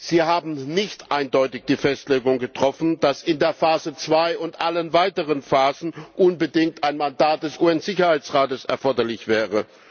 Sie haben nicht eindeutig die Festlegung getroffen, dass in der Phase zwei und allen weiteren Phasen unbedingt ein Mandat des UN Sicherheitsrates erforderlich wäre.